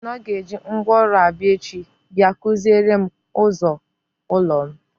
Ọ sị na ọ ga-eji ngwaọrụ abịa echi bia kụziere m ụzọ ụlọ m.